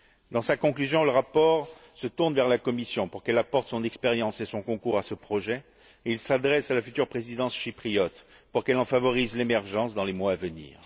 Dans sa conclusion, le rapport se tourne vers la Commission, pour qu'elle apporte son expérience et son concours à ce projet, et il s'adresse à la future présidence chypriote, pour qu'elle en favorise l'émergence dans les mois à venir.